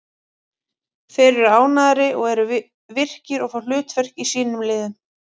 Þeir eru ánægðari og eru virkir og fá hlutverk í sínum liðum.